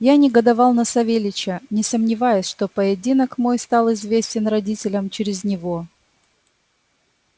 я негодовал на савельича не сомневаясь что поединок мой стал известен родителям через него